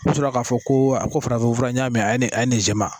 F'u tora ka fɔ ko , ko farafinfura n y'a mi a ye nin se n ma.